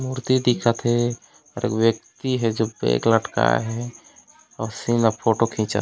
मूर्ति दिखा थे और व्यक्ति हे जो बैग लटकाए हे उसी का फोटो खिचा--